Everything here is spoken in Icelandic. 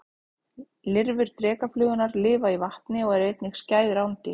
Lirfur drekaflugurnar lifa í vatni og eru einnig skæð rándýr.